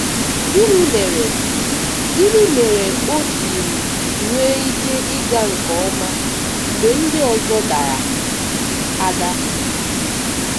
Gịnị mere Gịnị mere o jiri nwee ike ịga nke ọma mgbe ndị ọzọ dara ada?